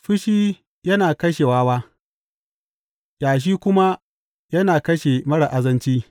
Fushi yana kashe wawa, ƙyashi kuma yana kashe marar azanci.